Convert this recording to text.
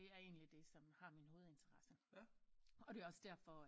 Det er en endeligt det som har min hovedinteresse og det er jo også derfor